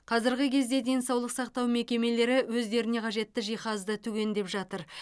қазіргі кезде денсаулық сақтау мекемелері өздеріне қажетті жиһазды түгендеп жатыр